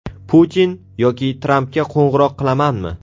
Putin yoki Trampga qo‘ng‘iroq qilamanmi?